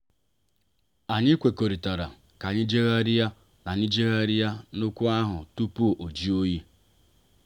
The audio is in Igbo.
anyị kwekọrịtara ka anyị jegharia na anyị jegharia na okwu ahụ tupu ọ jụọ oyi.